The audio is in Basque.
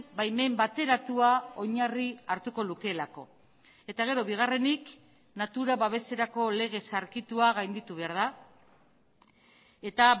baimen bateratua oinarri hartuko lukeelako eta gero bigarrenik natura babeserako lege zaharkitua gainditu behar da eta